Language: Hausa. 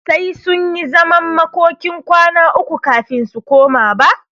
Sai sunyi zaman makokin kwana uku kafin su koma ba.